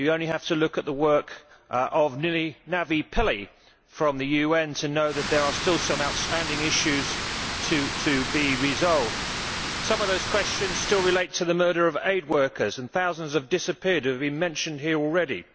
You only have to look at the work of Navi Pillay from the UN to know that there are still some outstanding issues to be resolved. Some of those questions relate to the murder of aid workers and the thousands of disappeared who have been mentioned here already.